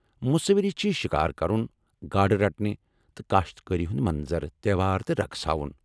مصوری چھ شِکار کرُن ، گاڈٕ رٹٕنہِ تہٕ كاشتكٲری ہندِ منظر ، تہوار تہٕ رقص ہاوان ۔